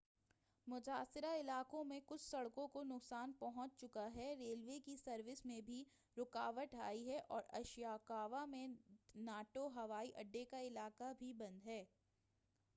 متاثرہ علاقوں میں کچھ سڑکوں کو نقصان پہنچ چکا ہے ریلوے کی سروس میں بھی رکاوٹ آئی ہے اور اشیکاوا میں ناٹو ہوائی اڈے کا علاقہ بھی بند ہے